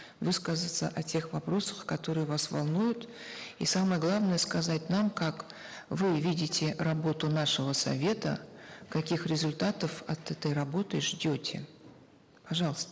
высказаться о тех вопросах которые вас волнуют и самое главное сказать нам как вы видите работу нашего совета каких результатов от этой работы ждете пожалуйста